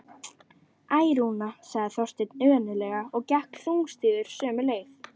Æ, Rúna sagði Þorsteinn önuglega og gekk þungstígur sömu leið.